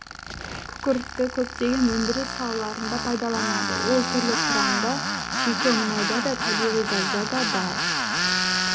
күкіртті көптеген өндіріс салаларында пайдаланады ол түрлі құрамда шикі мұнайда да табиғи газда да бар